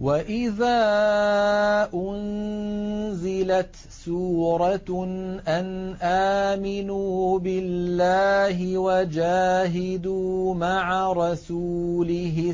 وَإِذَا أُنزِلَتْ سُورَةٌ أَنْ آمِنُوا بِاللَّهِ وَجَاهِدُوا مَعَ رَسُولِهِ